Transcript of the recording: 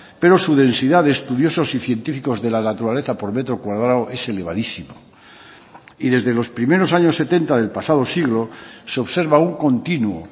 pero su densidad de estudiosos y científicos de la naturaleza por metro cuadrado es elevadísimo y desde los primeros años setenta del pasado siglo se observa un continuo